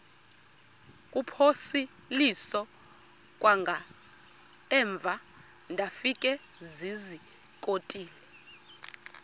kuphosiliso kwangaemva ndafikezizikotile